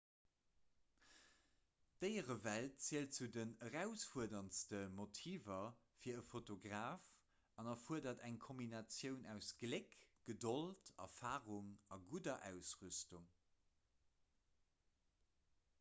d'déierewelt zielt zu den erausfuerderndste motiver fir e fotograf an erfuerdert eng kombinatioun aus gléck gedold erfarung a gudder ausrüstung